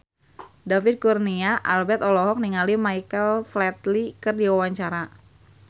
David Kurnia Albert olohok ningali Michael Flatley keur diwawancara